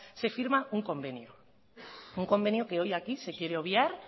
se firma un convenio un convenio que hoy aquí se quiere obviar